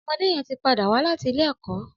Ọmọdé yèn ti pâdá wà làtí ilé ẹkọ